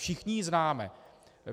Všichni ji známe.